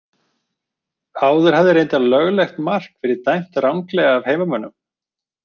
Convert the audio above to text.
Áður hafði reyndar löglegt mark verið dæmt ranglega af heimamönnum.